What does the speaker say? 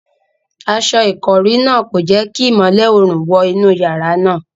Aṣọ ìkọ́rí náà kò jẹ́ kí ìmọ́lẹ̀ oòrùn wọ inú yàrá náà.